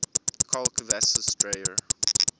jarl kvasis dreyra